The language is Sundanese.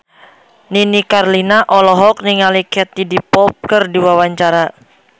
Nini Carlina olohok ningali Katie Dippold keur diwawancara